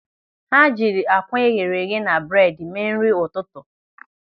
Ha jiri akwa eghere eghe na bredi mee nri ụtụtụ.